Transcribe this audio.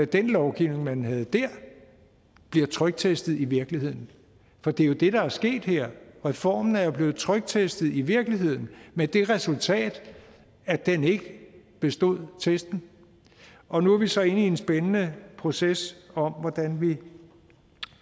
den lovgivning man havde der bliver tryktestet i virkeligheden for det er jo det der er sket her reformen er blevet tryktestet i virkeligheden med det resultat at den ikke bestod testen og nu er vi så inde i en spændende proces om hvordan vi